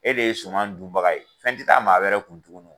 E de ye suman dunbaga ye, fɛn tɛ taa maa wɛrɛ kun tugun.